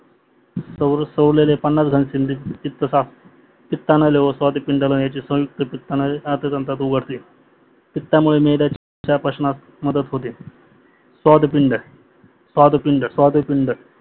स्वारलेले पन्नास घन स्निग्धता स्निग्धना लेवल स्वादपींडाचे संयुक्त स्वादपीनडात उघडते पितामुडे मेलेल्या पंचणात मदत होते स्वादुपिंड स्वादुपिंड स्वादुपिंड